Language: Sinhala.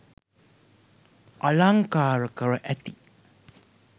අලංකාර කර ඇති